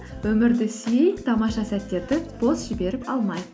өмірді сүй тамаша сәттерді бос жіберіп алма